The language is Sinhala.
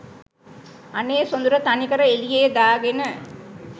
අනේ සොඳුර තනිකර එළියේ දාගෙන